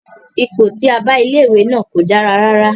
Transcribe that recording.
Ipò tí a bá ilé ìwé náà kò dára rárá.